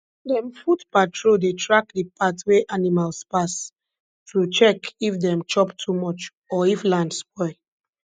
dem foot patrol dey track di path wey animals pass to check if dem chop too much or if land spoil